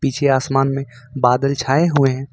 पिछे आसमान में बादल छाए हुए हैं।